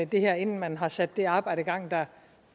det her inden man har sat det arbejde i gang der